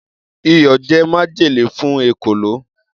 Iyọ̀ jẹ́ májèlé fún èkòló.